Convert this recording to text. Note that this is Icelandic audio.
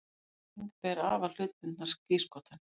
Samlagning ber afar hlutbundnar skírskotanir.